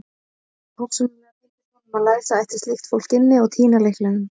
Persónulega fyndist honum að læsa ætti slíkt fólk inni og týna lyklinum.